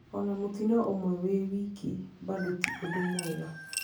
"Ona mũtino ũmwe wi wiki bado ti ũndũ mwega.